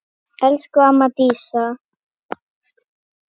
Elsku amma Dísa.